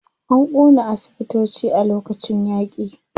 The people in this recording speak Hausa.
An ƙona asibitoci a lokacin yaƙi.